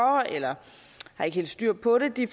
eller har ikke helt styr på det